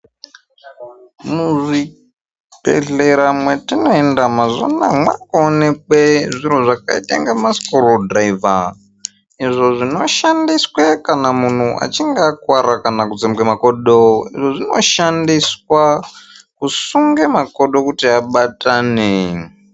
Muzvibhehlera mwetinoenda mazuva anaya mwaakuonekwe zviro zvakaite inga masikurudhiraivha. Izvi zvinoshandiswe kana munhu achinge akuvara kana kutsemuke makodo. Izvi zvinoshandiswa kusunga makodo kuti abatane.